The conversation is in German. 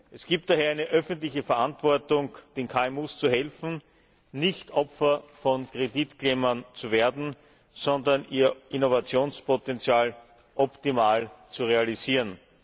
Es gibt daher eine öffentliche Verantwortung, den KMU zu helfen, nicht Opfer von Kreditklemmern zu werden, sondern ihr Innovationspotenzial optimal zu realisieren.